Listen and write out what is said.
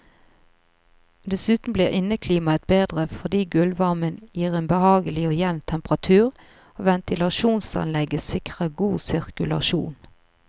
Dessuten blir inneklimaet bedre fordi gulvvarmen gir en behagelig og jevn temperatur, og ventilasjonsanlegget sikrer god sirkulasjon.